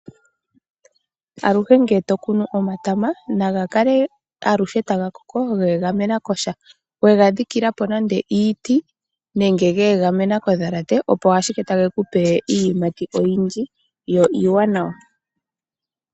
Aluhe ngele to kunu omatama, naga kale aluhe taga vulu okweegamena kosha. We ga dhikila po nande iiti, nenge ge egamena kondhalate, opo ashike tage ku pe iiyimati oyindji yo iiwanawa.